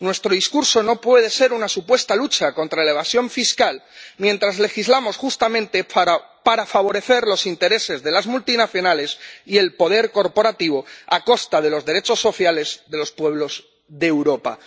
Nuestro discurso no puede ser una supuesta lucha contra la evasión fiscal, mientras legislamos justamente para para favorecer los intereses de las multinacionales y el poder corporativo, a costa de los derechos sociales de los pueblos de Europa.